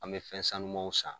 An bɛ fɛn sanumanw san.